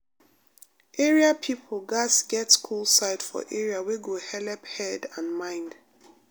area people gatz get cool side for area wey go helep head and mind.